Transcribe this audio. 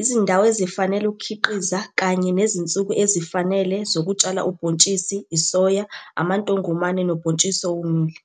izindawo ezifanele ukukhiqiza kanye nezinsuku ezifanele zokutshala ubhontshisi isoya, amantongomane nobhontshisi owomile.